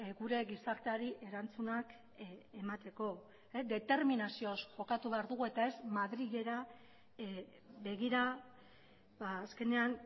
gure gizarteari erantzunak emateko determinazioz jokatu behar dugu eta ez madrilera begira azkenean